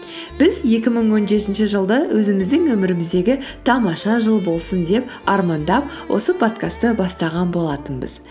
біз екі мың он жетінші жылды өзіміздің өміріміздегі тамаша жыл болсын деп армандап осы подкастты бастаған болатынбыз